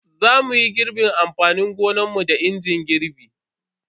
Za muyi girbin amfanin gonanmu ne da injin din girbi.